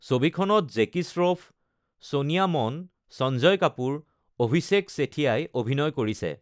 ছবিখনত জেকী শ্ৰফ, ছোনিয়া মন, সঞ্জয় কাপুৰ, অভিষেক ছেথিয়াই অভিনয় কৰিছে।